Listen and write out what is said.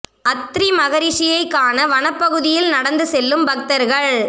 அத்ரி மகரிஷியை காண வனப் பகுதியில் நடந்து செல்லும் பக்தர்கள்